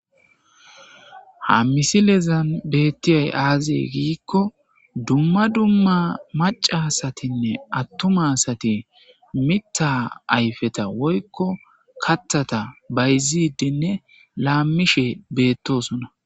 Ha misilezan beettiyay aazee giikko dumma dumma macasatinne attumasati mitta ayfeta woykko kathata bayzidinne laammishe beettosona.